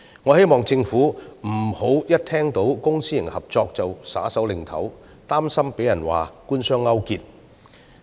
我希望政府別聽到公私營合作便斷然拒絕，擔心遭批評為官商勾結。